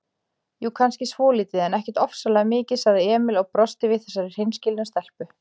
Jú, kannski svolítið, en ekkert ofsalega mikið, sagði Emil og brosti við þessari hreinskilnu stelpu.